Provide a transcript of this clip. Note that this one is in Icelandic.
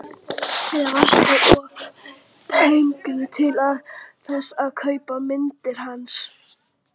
Eða varstu of pempíuleg til þess að kaupa myndirnar hans?